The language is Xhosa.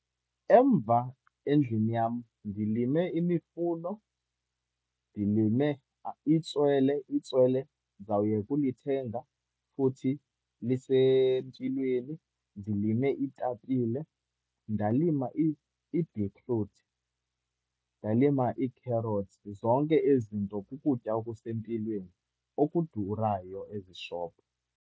Emva, endlini yam, ndilime imifuno, ndilime itswele. Itswele ndizawuyeka ulithenga futhi lisempilweni. Ndilime iitapile, ndalima ibhitruthi. Ndalima ii-carrots. Zonke ezi nto kukutya okusempilweni, okudurayo ezishophu.